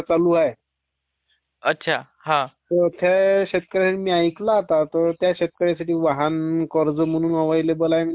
त्या शेतकऱ्यांनी ऐकल आता त्या शेतकऱ्यांना वाहन कर्ज म्हणून एवेलेबल आहे. त्यादिवशी आला होता फोन.